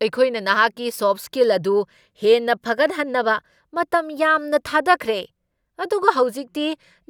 ꯑꯩꯈꯣꯏꯅ ꯅꯍꯥꯛꯀꯤ ꯁꯣꯐꯠ ꯁ꯭ꯀꯤꯜꯁꯤꯡ ꯑꯗꯨ ꯍꯦꯟꯅ ꯐꯒꯠꯍꯟꯅꯕ ꯃꯇꯝ ꯌꯥꯝꯅ ꯊꯥꯗꯈ꯭ꯔꯦ, ꯑꯗꯨꯒ ꯍꯧꯖꯤꯛꯇꯤ